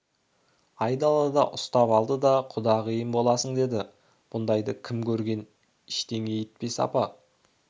айдалада ұстап алды да құдағиым боласың деді мұндайды кім көрген іштеңе етпес апа